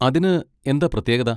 അതിന് എന്താ പ്രത്യേകത?